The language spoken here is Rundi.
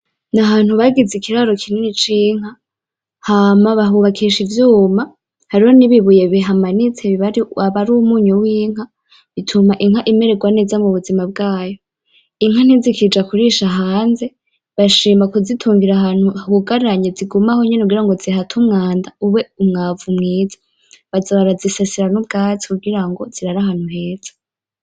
Ni ahantu bagize ikiraro kini c'inka hama bahubakisha ivyuma hariho nibibuye bihamanitse, aba ari umunyu w'inka, ituma inka imererwa neza mubuzima bwayo, inka ntizikija kurisha hanze bashima kuzitungira ahantu hugaranye zigume aho nyene kugira ngo zihate umwanda ube umwavu mwiza baza barazisasira n'ubwatsi kugirango zirare ahantu heza.